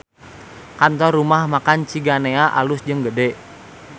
Kantor Rumah Makan Ciganea alus jeung gede